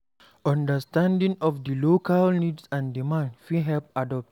Understanding of di local needs and demand fit help to adapt